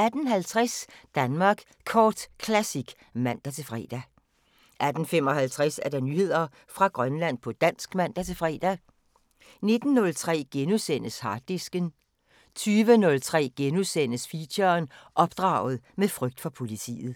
18:50: Danmark Kort Classic (man-fre) 18:55: Nyheder fra Grønland på dansk (man-fre) 19:03: Harddisken * 20:03: Feature: Opdraget med frygt for politiet *